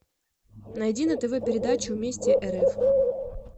найди на тв передачу вместе рф